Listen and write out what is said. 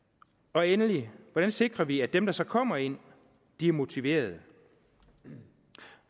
og endelig hvordan sikrer vi at dem der så kommer ind er motiverede